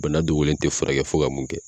Bana dogolen tɛ furakɛ fo ka mun kɛ.